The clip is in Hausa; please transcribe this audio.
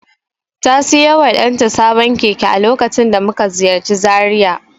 Ta siyo wa ɗanta sabon keke a lokacin da muka ziyarci Zaria.